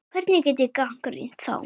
Hvernig get ég gagnrýnt þá?